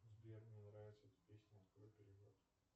сбер мне нравится эта песня открой перевод